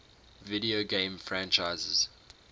video game franchises